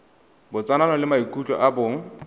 botsalano le maikutlo a bong